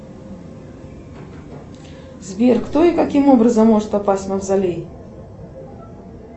сбер кто и каким образом может попасть в мавзолей